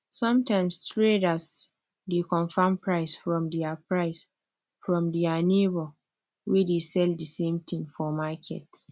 sometimes traders dey confirm price from their price from their neighbour wey dey sell the same tin for market